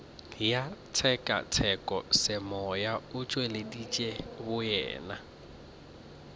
ya tshekatshekosemoya o tšweleditše boyena